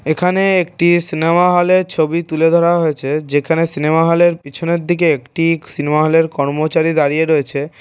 এখানে একটি সিনেমা হলের ছবি তুলে ধরা হয়েছে যেখানে সিনেমা হলের পিছনের দিকে একটি সিনেমা হলের কর্মচারী দাঁড়িয়ে রয়েছে।